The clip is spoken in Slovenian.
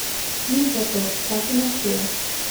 Nič za to, vse se maščuje.